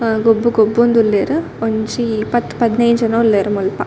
ಆ ಗೊಬ್ಬು ಗೊಬ್ಬೊಂದುಲ್ಲೆರ್ ಒಂಜಿ ಪತ್ತ್ ಪದ್ನೈನ್ ಜನ ಉಲ್ಲೆರ್ ಮುಲ್ಪ.